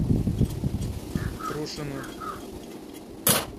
трушину